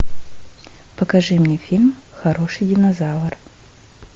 покажи мне фильм хороший динозавр